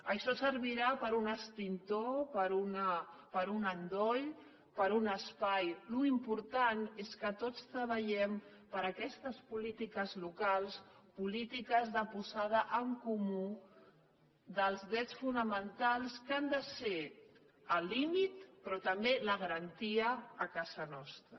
això servirà per a un extintor per a un endoll per a un espai allò important és que tots treballem per aquestes polítiques locals polítiques de posada en comú dels drets fonamentals que han de ser el límit però també la garantia a casa nostra